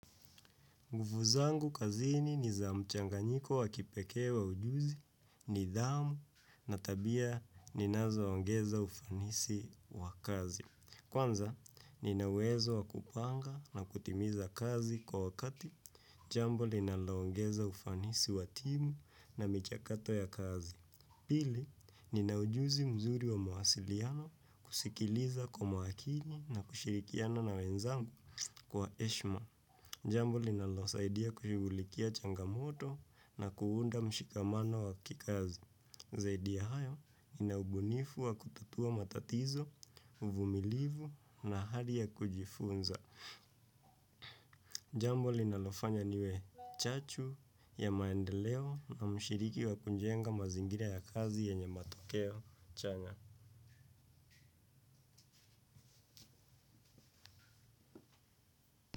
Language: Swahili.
Nguvu zangu kazini ni za mchanganyiko wa kipekee wa ujuzi, nidhamu na tabia ninazo ongeza ufanisi wa kazi. Kwanza, nina uwezo wa kupanga na kutimiza kazi kwa wakati jambo linalo ongeza ufanisi wa timu na michakato ya kazi. Pili, ni na ujuzi mzuri wa mawasiliano kusikiliza kwa maakini na kushirikiana na wenzangu kwa heshma. Jambo linalosaidia kushughulikia changamoto na kuunda mshikamano wa kikazi. Zaidi ya hayo nina ubunifu wa kutatua matatizo, uvumilivu na hali ya kujifunza. Jambo linalofanya niwe chachu ya maendeleo na mshiriki wa kujenga mazingira ya kazi yenye matokeo changa.